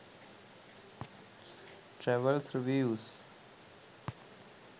travels reviews